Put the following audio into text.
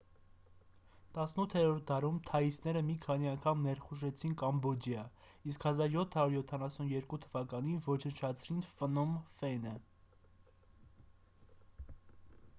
18-րդ դարում թաիսները մի քանի անգամ ներխուժեցին կամբոջիա իսկ 1772 թվականին ոչնչացրին ֆնոմ ֆենը